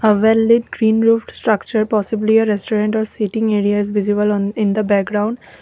a well lit green roofed structure possibly a restaurant or sitting area is visible on in the background.